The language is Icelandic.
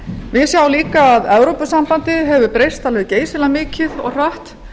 við sjáum líka að evrópusambandið hefur breyst alveg geysilega mikið og hratt